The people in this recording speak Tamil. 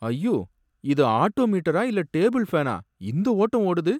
ஐயோ! இது ஆட்டோ மீட்டரா இல்ல டேபிள் ஃபேனா, இந்த ஓட்டம் ஓடுது